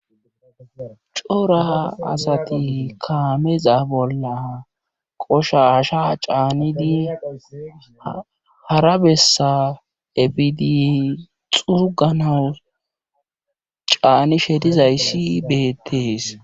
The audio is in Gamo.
Cora asati kaameza bolla qosha asha caanidi hara bessa efidi xurganawu caani shedizayssi beettees.